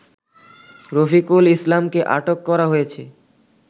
রফিকুল ইসলামকে আটক করা হয়েছে